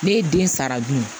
Ne ye den sara dun